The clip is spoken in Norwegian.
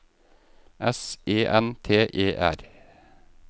S E N T E R